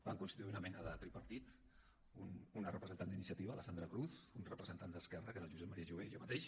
vam constituir una mena de tripartit una representant d’iniciativa la sandra cruz un representant d’esquerra que era el josep maria jové i jo mateix